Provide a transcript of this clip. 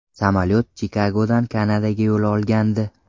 Samolyot Chikagodan Kanadaga yo‘l olgandi.